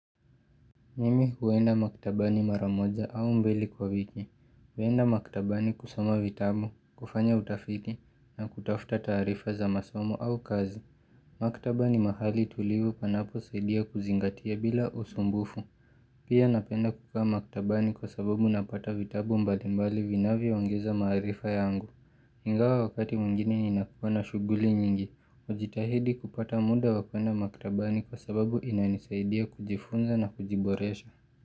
Mimi huwenda maktabani maramoja au mbeli kwa viki, huwenda maktabani kusoma vitabu, kufanya utafiki na kutafuta taarifa za masomo au kazi. Maktabani mahali tulivu panapo saidia kuzingatia bila usumbufu. Pia napenda kukaa maktabani kwa sababu napata vitabu mbalimbali vinavyo ongeza maarifa yangu. Ingawa wakati mwingine ni nakua shughuli nyingi, hujitahidi kupata muda wakwenda maktabani kwa sababu inanisaidia kujifunza na kujiboresha.